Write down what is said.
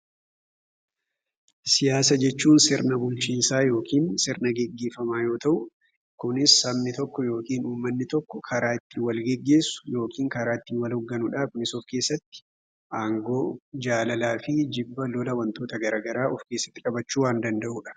Siyaasaa jechuun sirna bulchiinsa yookaan sirna gaggeeffama yoo ta'u, kunis sabni tokko yookiin uummanni tokko karaa ittiin wal gaggeessu yookiin karaa ittiin wal hooganu aangoo jaalala fi jibba lola garaagaraa waantota qabachuu waan danda'udha.